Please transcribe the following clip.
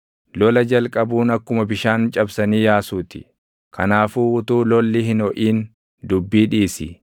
Lola jalqabuun akkuma bishaan cabsanii yaasuu ti; kanaafuu utuu lolli hin hoʼin dubbii dhiisi.